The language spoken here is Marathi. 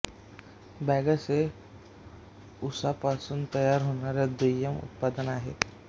बगॅस हे ऊसापासून तयार होणारा दुय्यम उत्पादन आहे